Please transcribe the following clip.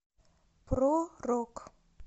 про рок